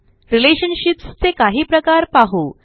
relationships चे काही प्रकार पाहू